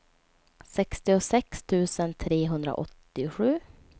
sextiosex tusen trehundraåttiosju